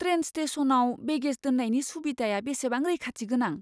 Train स्टेशनआव baggage दोननायनि सुबिधाया बेसेबां रैखाथि गोनां?